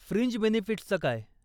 Fringe बेनिफिट्सचं काय?